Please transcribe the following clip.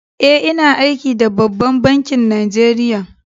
Eh, ina aiki da ɓabban banki Najeriya.